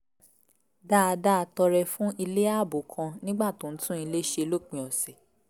dáadáa tọrẹ fún ilé ààbò kan nígbà tó ń tún ilé ṣe lópin ọ̀sẹ̀